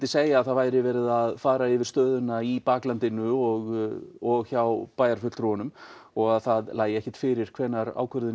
segja að það væri verið að fara yfir stöðuna í baklandinu og og hjá og það lægi ekkert fyrir hvenær ákvörðun